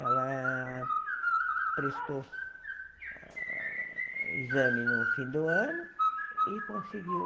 Ela prestou exame no fim do ano e conseguiu.